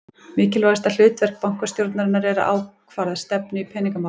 Mikilvægasta hlutverk bankastjórnarinnar er að ákvarða stefnu í peningamálum.